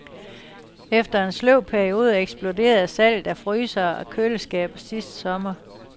Efter en sløv periode eksploderede salget af frysere og køleskabe sidste sommer.